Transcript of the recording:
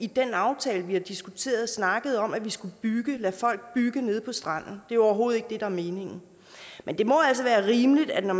den aftale vi har diskuteret snakket om at vi skulle lade folk bygge nede på stranden det er overhovedet ikke det der er meningen men det må altså være rimeligt at man